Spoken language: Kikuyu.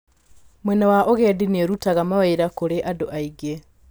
Mwena wa ũgendi nĩ ũrutaga mawĩra kũrĩ andũ aingĩ.